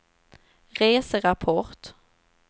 reserapport